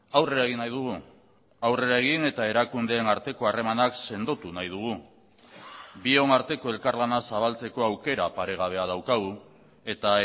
aurrera egin nahi dugu aurrera egin eta erakundeen arteko harremanak sendotu nahi dugu bion arteko elkarlana zabaltzeko aukera paregabea daukagu eta